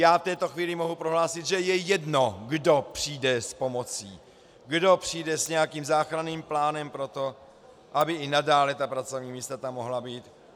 Já v této chvíli mohu prohlásit, že je jedno, kdo přijde s pomocí, kdo přijde s nějakým záchranným plánem pro to, aby i nadále ta pracovní místa tam mohla být.